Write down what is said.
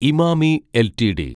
Emami LTD